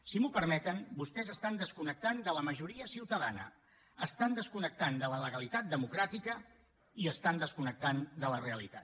si m’ho permeten vostès estan desconnectant de la majoria ciutadana estan desconnectant de la legalitat democràtica i estan desconnectant de la realitat